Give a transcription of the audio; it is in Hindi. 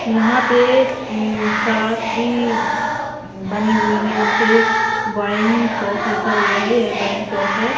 यहां पे हम्म शराब की बनी हुई है यहां पे वाइन शॉप लिखा हुआ है यह वाइन शॉप है ।